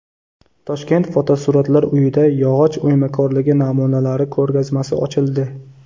Toshkent fotosuratlar uyida yog‘och o‘ymakorligi namunalari ko‘rgazmasi ochildi .